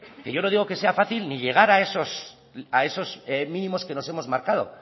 que yo no digo que sea fácil ni llegar a esos mínimos que nos hemos marcado